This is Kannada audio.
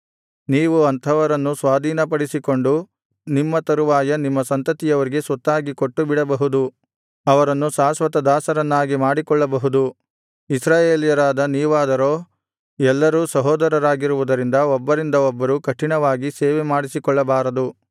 ನೀವು ಅಂಥವರನ್ನು ಸ್ವಾಧೀನಪಡಿಸಿಕೊಂಡು ನಿಮ್ಮ ತರುವಾಯ ನಿಮ್ಮ ಸಂತತಿಯವರಿಗೆ ಸ್ವತ್ತಾಗಿ ಕೊಟ್ಟು ಬಿಡಬಹುದು ಅವರನ್ನು ಶಾಶ್ವತ ದಾಸರನ್ನಾಗಿ ಮಾಡಿಕೊಳ್ಳಬಹುದು ಇಸ್ರಾಯೇಲರಾದ ನೀವಾದರೋ ಎಲ್ಲರೂ ಸಹೋದರರಾಗಿರುವುದರಿಂದ ಒಬ್ಬರಿಂದ ಒಬ್ಬರು ಕಠಿಣವಾಗಿ ಸೇವೆಮಾಡಿಸಿಕೊಳ್ಳಬಾರದು